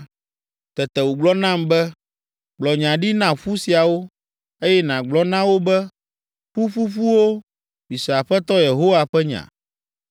Tete wògblɔ nam be, “Gblɔ nya ɖi na ƒu siawo, eye nàgblɔ na wo be, ‘Ƒu ƒuƒuwo, mise Aƒetɔ Yehowa ƒe nya.